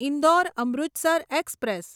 Indore Amritsar express